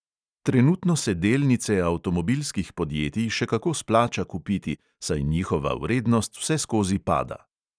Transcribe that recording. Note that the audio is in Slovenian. Trenutno se delnice avtomobilskih podjetij še kako splača kupiti, saj njihova vrednost vseskozi pada.